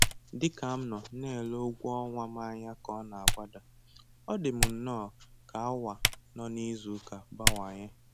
Dị ka m nọ na-ele ụgwọ ọnwa m ànyà ka ọ n'agbada, ọ dị m nnọọ ka awa nọ n'izuuka bawanye.